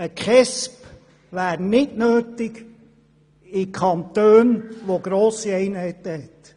Eine KESB wäre in Kantonen mit grossen Einheiten nicht notwendig.